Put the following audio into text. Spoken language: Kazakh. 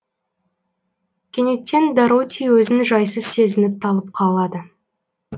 кенеттен дороти өзін жайсыз сезініп талып қалады